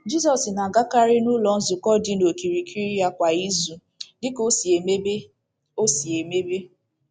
Jizọs na-agakarị n’ụlọ nzukọ dị n’okirikiri ya kwa izu dị ka o si emebe. o si emebe.